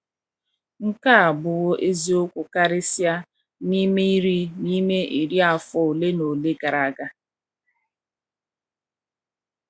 Nke a abụwo eziokwu karịsịa n’ime iri n’ime iri afọ ole na ole gara aga.